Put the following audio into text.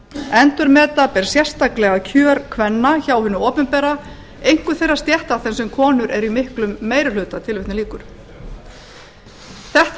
endurmeta ber sérstaklega kjör kvenna hjá hinu opinbera einkum þeirra stétta þar sem konur eru í miklum meiri hluta þetta er að